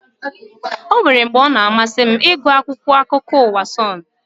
Ọ nwéré mgbe ọ na amasị m ịgụ akwụkwọ akụkọ ụwa Sonu